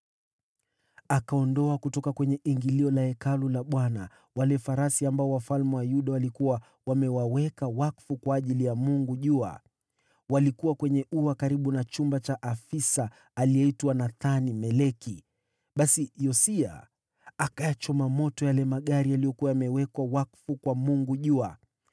Akaondoa kutoka kwenye ingilio la Hekalu la Bwana wale farasi ambao wafalme wa Yuda walikuwa wamewaweka wakfu kwa ajili ya jua. Walikuwa kwenye ua karibu na chumba cha afisa aliyeitwa Nathan-Meleki. Basi Yosia akayachoma moto yale magari yaliyokuwa yamewekwa wakfu kwa jua.